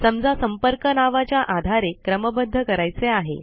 समजा संपर्क नावाच्या आधारे क्रमबद्ध करायचे आहे